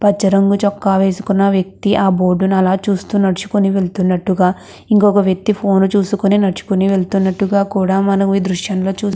పచ్చ రంగు చొక్కా వేసుకున్న వ్యక్తి ఆ బోర్డు ను అలా చూస్తున్నట్టు వెళ్తున్నట్టుగా ఒక వ్యక్తి ఫోన్ చేస్తున్నట్టు వెళ్తున్నట్టుగా కూడా మనం ఈ దృశ్యం లో చూడవచ్చు.